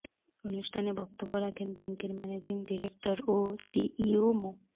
অনুষ্ঠানে বক্তব্য রাখেন ব্যাংকের ম্যানেজিং ডিরেক্টর ও সিইও মো